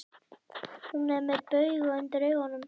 Hún er með bauga undir augunum.